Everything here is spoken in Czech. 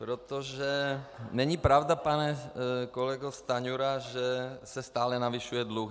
Protože není pravda, pane kolego Stanjuro, že se stále navyšuje dluh.